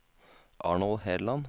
Arnold Herland